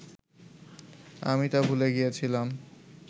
আমি তা ভুলে গিয়েছিলাম